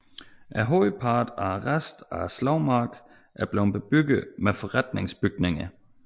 Hovedparten af resten af slagmarken er blevet bebygget med forretningsbygninger